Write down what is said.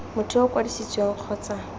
motho yo o kwadisitsweng kgotsa